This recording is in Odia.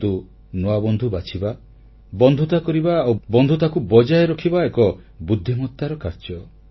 କିନ୍ତୁ ନୂଆ ବନ୍ଧୁ ବାଛିବା ବନ୍ଧୁତା କରିବା ଆଉ ବନ୍ଧୁତାକୁ ବଜାୟ ରଖିବା ଏକ ବୁଦ୍ଧିମତାର କାର୍ଯ୍ୟ